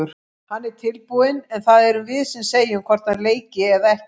Hann er tilbúinn en það erum við sem segjum hvort hann leiki eða ekki.